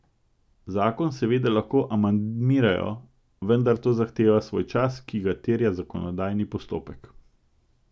Zakon seveda lahko amandmirajo, vendar to zahteva svoj čas, ki ga terja zakonodajni postopek.